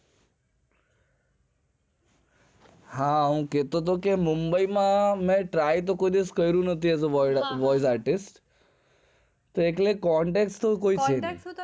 હા હું કેતો હતો કે mumbai માં મેં ક્યારે try તો કર્યું નથી એ voice artist એટલે કોઈ contact છે નઈ